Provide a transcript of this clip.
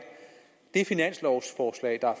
det finanslovforslag der er